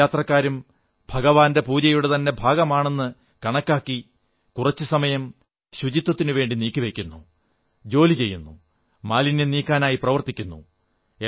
എല്ലാ ഭക്തരും ഭഗവാന്റെ പൂജയുടെ തന്നെ ഭാഗമാണെന്നു കണക്കാക്കി കുറച്ചു സമയം ശുചിത്വത്തിനുവേണ്ടി നീക്കി വയ്ക്കുന്നു ജോലി ചെയ്യുന്നു മാലിന്യം നീക്കാനായി പ്രവർത്തിക്കുന്നു